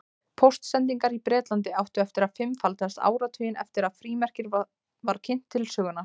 Póstsendingar í Bretlandi áttu eftir að fimmfaldast áratuginn eftir að frímerkið var kynnt til sögunnar.